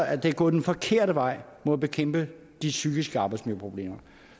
at det er gået den forkerte vej med at bekæmpe de psykiske arbejdsmiljøproblemer